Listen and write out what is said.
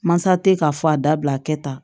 Mansa tɛ k'a fɔ a dabila a kɛ tan